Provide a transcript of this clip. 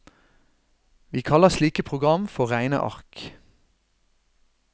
Vi kaller slike program for regneark.